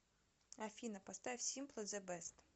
афина поставь симпли зэ бэст